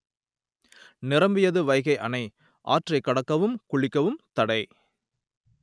நிரம்பியது வைகை அணை ஆற்றைக் கடக்கவும் குளிக்கவும் தடை